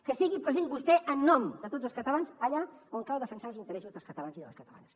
que sigui present vostè en nom de tots els catalans allà on cal defensar els interessos dels catalans i de les catalanes